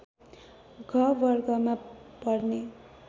घ वर्गमा पर्ने